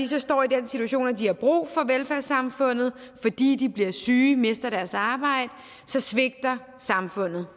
skat står i den situation at de har brug for velfærdssamfundet fordi de bliver syge mister deres arbejde så svigter samfundet